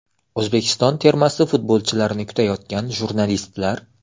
O‘zbekiston termasi futbolchilarini kutayotgan jurnalistlar.